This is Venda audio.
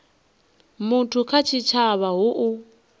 muthu kha tshitshavha hu u